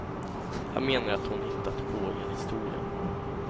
Han menar att hon hittat på hela historien.